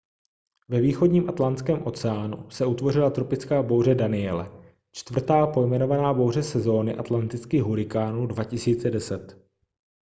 ve východním atlantském oceánu se utvořila tropická bouře danielle čtvrtá pojmenovaná bouře sezóny atlantických hurikánů 2010